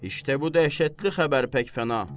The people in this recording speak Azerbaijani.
İşte bu dəhşətli xəbər pək fəna.